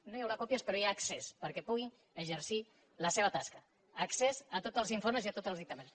no hi haurà còpies però hi ha accés perquè puguin exercir la seva tasca accés a tots els informes i a tots els dictàmens